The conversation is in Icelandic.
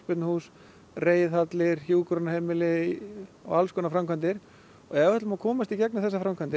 allskonar framkvæmdir ef við ætlum að komast í gegnum þessar framkvæmdir